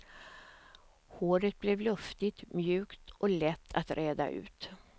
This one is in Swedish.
Håret blev luftigt, mjukt och lätt att reda ut.